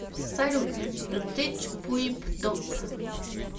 салют ртечпуипдоп